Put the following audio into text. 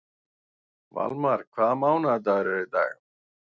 Valmar, hvaða mánaðardagur er í dag?